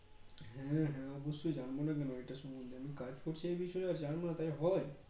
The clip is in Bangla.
হ্যাঁ হ্যাঁ অবশ্যই জানবো না কেন এটা সম্মন্ধে আমি কাজ করছি এই বিষয় আর জন্য না তাই হয়